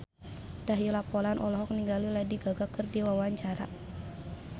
Dahlia Poland olohok ningali Lady Gaga keur diwawancara